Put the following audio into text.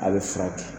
A bɛ furakɛ